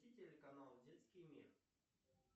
включи телеканал детский мир